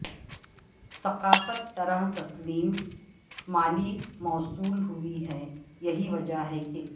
ثقافت طرح تسلیم مالی موصول ہوئی ہے یہی وجہ ہے کہ